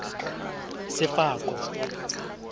sefako